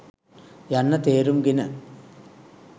යන්න තේරුම් ගෙන